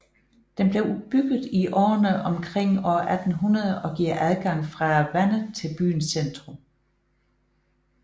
Den blev bygget i årerne omkring år 1800 og giver adgang fra vandet til byens centrum